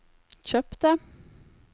kjøpte